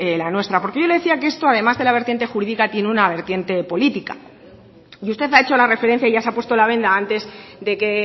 la nuestra porque yo le decía que esto además de la vertiente jurídica tiene una vertiente política y usted ha hecho la referencia y ya se ha puesto la venda antes de que